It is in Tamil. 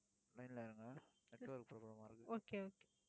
okay okay